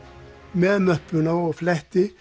með möppuna og fletti